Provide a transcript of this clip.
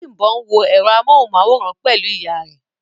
Bímbọ́ n wọ ẹ̀rọ amóhùnmáwòrán pẹ̀lú ìyá rẹ̀